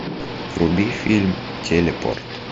вруби фильм телепорт